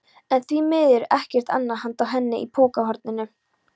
En á því miður ekkert annað handa henni í pokahorninu.